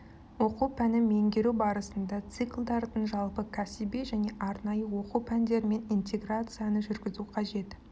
оқу пәнін меңгеру барысында циклдардың жалпы кәсіби және арнайы оқу пәндерімен интеграцияны жүргізу қажет